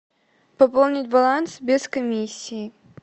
пополнить баланс без комиссии